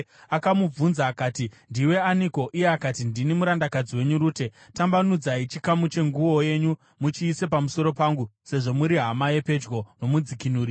Akamubvunza akati, “Ndiwe aniko?” Iye akati, “Ndini murandakadzi wenyu Rute. Tambanudzai chikamu chenguo yenyu muchiise pamusoro pangu, sezvo muri hama yapedyo nomudzikinuri.”